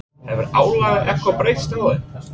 Hefur álagið eitthvað breyst á þeim?